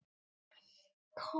Ég er þakklát fyrir allt.